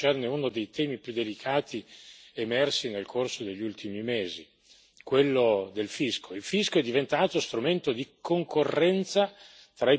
Esattamente come la stessa cosa non è accettabile per quanto concerne uno dei temi più delicati emersi nel corso degli ultimi mesi, quello del fisco.